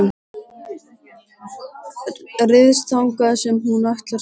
Ryðst þangað sem hún ætlar sér.